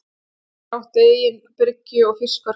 Hver þeirra átti eigin bryggju og fiskverkunarhús.